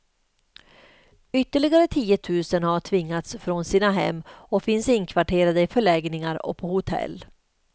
Ytterligare tiotusen har tvingats från sina hem och finns inkvarterade i förläggningar och på hotell.